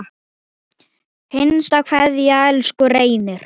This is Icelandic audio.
HINSTA KVEÐJA Elsku Reynir.